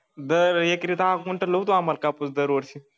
दर एकेरी दहा गुंठ लावतो आम्हाला कापूस दरवर्षी